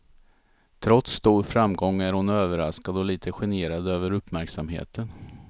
Trots stor framgång är hon överraskad och lite generad över uppmärksamheten.